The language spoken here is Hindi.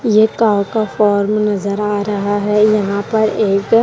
ये काउ का फॉर्म नजर आ रहा है यहाँ पर एक--